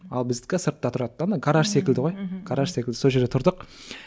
ал біздікі сыртта тұрады да ана гараж секілді ғой гараж секілді сол жерде тұрдық